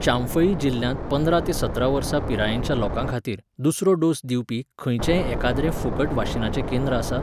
चांफई जिल्ल्यांत पंदरा ते सतरा वर्सां पिरायेच्या लोकांखातीर, दुसरो डोस दिवपी, खंयचेंय एखाद्रें फुकट वाशिनाचें केंद्र आसा?